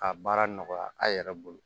K'a baara nɔgɔya a yɛrɛ bolo